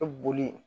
Ka boli